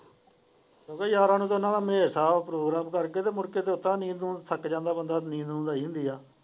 ਗਿਆਰ੍ਹਾਂ ਨੂੰ ਤਾ ਇਹਨਾਂ ਦਾ ਹੈ ਪ੍ਰੋਗਰਾਮ ਕਰਕੇ ਤਾ ਮੁੜ ਕੇ ਥੱਕ ਜਾਂਦਾ ਬੰਦਾ ਨੀਂਦ ਨੂੰਦ ਆਈ ਹੁੰਦੀ ਹੈ।